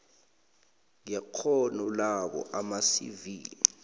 nekghono labo amacv